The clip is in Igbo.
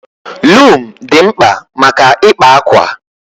Lum dị mkpa maka ịkpa ákwà